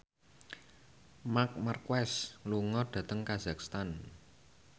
Marc Marquez lunga dhateng kazakhstan